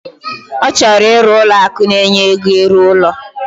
Ochoro iru Ụlọ akụ na enye ego iru ulo